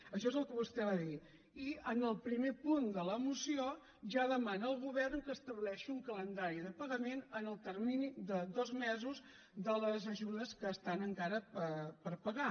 això és el que vostè va dir i en el primer punt de la moció ja demana al govern que estableixi un calendari de pagament en el termini de dos mesos de les ajudes que estan encara per pagar